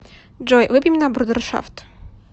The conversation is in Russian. джой выпьем на брудершафт